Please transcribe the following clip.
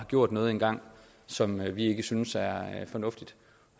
gjort noget engang som vi ikke synes er fornuftigt